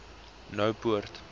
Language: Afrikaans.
noupoort